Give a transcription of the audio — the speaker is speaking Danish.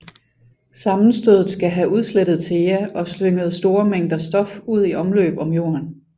Sammenstødet skal have udslettet Theia og slynget store mængder stof ud i omløb om Jorden